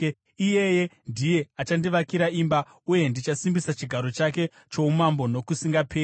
Iyeye ndiye achandivakira imba, uye ndichasimbisa chigaro chake choumambo nokusingaperi.